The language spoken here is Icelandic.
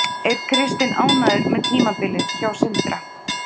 Er Kristinn ánægður með tímabilið hjá Sindra?